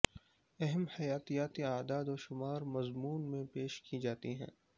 اہم حیاتیاتی اعداد و شمار مضمون میں پیش کی جاتی ہیں